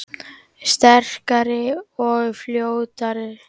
Sterkari og fljótari